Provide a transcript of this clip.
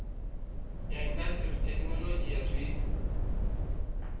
ya indasiṱiri thekinolodzhi ya zwiko